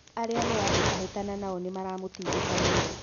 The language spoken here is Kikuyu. Arĩa mũrahĩtahĩtana nao nĩmaramũtindĩka mũno